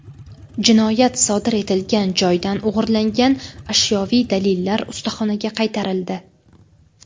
Jinoyat sodir etilgan joydan o‘g‘irlangan ashyoviy dalillar ustaxonaga qaytarildi.